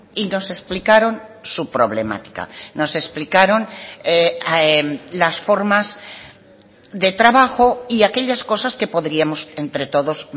y nos explicaron su problemática nos explicaron las formas de trabajo y aquellas cosas que podríamos entre todos